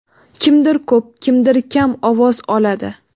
Kimdir ko‘p, kimdir kam ovoz oladi.